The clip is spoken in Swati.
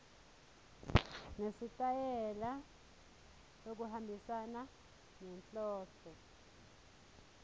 nesitayela lokuhambisana nenhloso